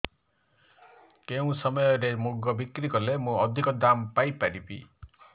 କେଉଁ ସମୟରେ ମୁଗ ବିକ୍ରି କଲେ ମୁଁ ଅଧିକ ଦାମ୍ ପାଇ ପାରିବି